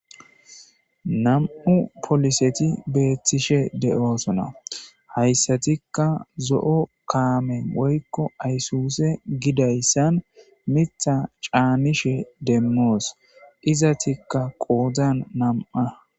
2 poliset betishe de'osona. Etika zo'o kame woyko aysuse bollan Mitha canishn demos , izetika qodan 2.